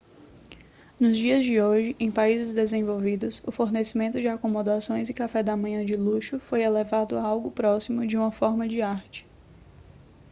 nos dias de hoje em países desenvolvidos o fornecimento de acomodações e café da manhã de luxo foi elevado a algo próximo de uma forma de arte